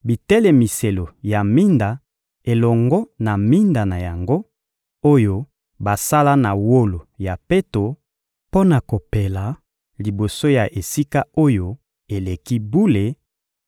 bitelemiselo ya minda elongo na minda na yango, oyo basala na wolo ya peto, mpo na kopela liboso ya Esika-Oyo-Eleki-Bule,